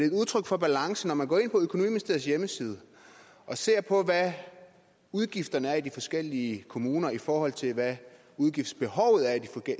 et udtryk for balance når man går ind på økonomiministeriets hjemmeside og ser på hvad udgifterne er i de forskellige kommuner i forhold til hvad udgiftsbehovet er i de